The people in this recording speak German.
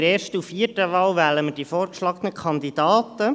In der ersten und vierten Wahl wählen wir die vorgeschlagenen Kandidaten.